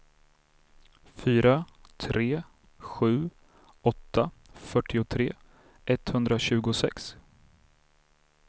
fyra tre sju åtta fyrtiotre etthundratjugosex